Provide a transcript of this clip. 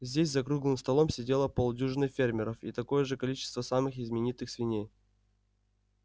здесь за круглым столом сидело полдюжины фермеров и такое же количество самых именитых свиней